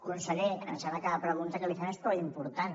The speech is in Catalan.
conseller em sembla que la pregunta que li fem és prou important